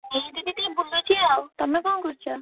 ଏଇଠି ଦିଦି ବୁଲୁଛି ଆଉ ତମେ ଙ୍କ କରୁଛ?